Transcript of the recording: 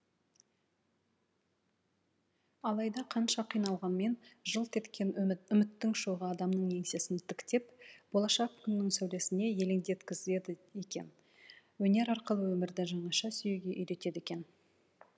алайда қанша қиналғанмен жылт еткен үміт үміттің шоғы адамның еңсесін тіктеп болашақ күннің сәулесіне елеңдеткізеді екен өнер арқылы өмірді жаңаша сүюге үйретеді екен